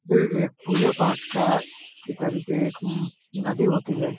ये एक पूजा-पाठ का की तरीके उम्म नदी होती है।